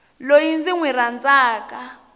loyi ndzi n wi rhandzaka